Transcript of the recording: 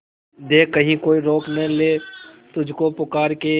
देख कहीं कोई रोक नहीं ले तुझको पुकार के